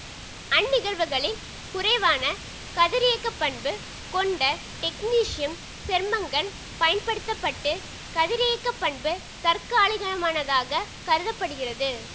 அந்நிகழ்வுகளில் குறைவான கதிரியக்க பண்பு கொண்ட டெக்னீசியம் சேர்மங்கள் பயன்படுத்த பட்டு கதிரியக்க பண்பு தற்காலிகமானதாகக் கருத படுகிறது